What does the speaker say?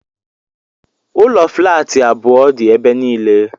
Ụlọ flaatị abụọ dị ebe niile.